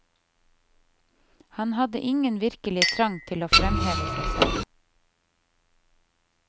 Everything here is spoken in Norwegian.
Han hadde ingen virkelig trang til å fremheve seg selv.